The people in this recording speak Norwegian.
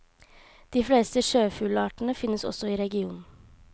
De fleste sjøfuglartene finnes også i regionen.